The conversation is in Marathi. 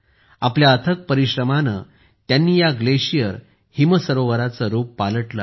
आपल्या अथक परिश्रमाने त्यांनी या ग्लेशियर हिम सरोवराचे रूप पालटले आहे